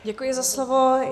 Děkuji za slovo.